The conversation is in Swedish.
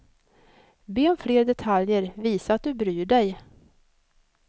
Be om fler detaljer, visa att du bryr dig.